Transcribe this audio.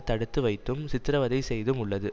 தடுத்து வைத்தும் சித்திரவதை செய்தும் உள்ளது